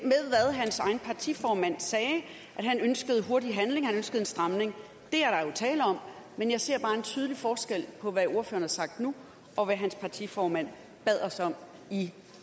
hvad hans egen partiformand sagde nemlig at han ønskede hurtigere handling han ønskede en stramning det er der jo tale om men jeg ser bare en tydelig forskel på hvad ordføreren har sagt nu og hvad hans partiformand bad os om i